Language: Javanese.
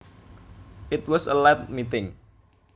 It was a late meeting